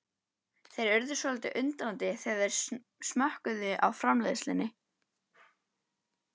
Þeir urðu svolítið undrandi þegar þeir smökkuðu á framleiðslunni.